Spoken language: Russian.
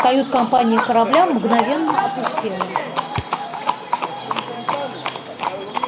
кают-компания корабля мгновенно опустела